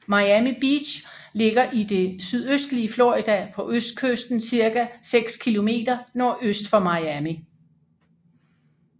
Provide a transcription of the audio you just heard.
Miami Beach ligger i det sydøstlige Florida på østkysten cirka 6 kilometer nordøst for Miami